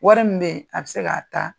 Wari min be yen, a bi se k'a ta